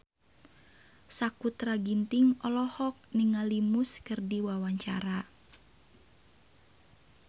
Sakutra Ginting olohok ningali Muse keur diwawancara